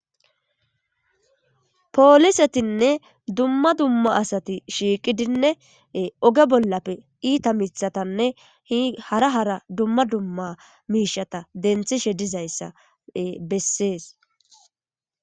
Poolisetinne dumma dumma asati shiiqidinne oge bollappe iita miththatanne hi hara hara dumma dumma miishshata denthishe dizayssa bessees.